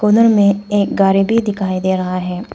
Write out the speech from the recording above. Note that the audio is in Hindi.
अंदर में एक भी गाड़ी दिखाई दे रहा है।